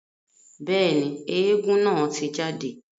Bẹ́ẹ̀ni, éégún naa ti jade.